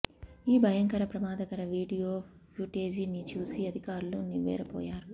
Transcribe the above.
ఈ భయంకర ప్రమాదకార వీడియో ఫ్యూటేజి ని చూసి అధికారులు నివ్వెరపోయారు